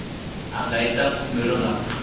a nga ita khumbelo nga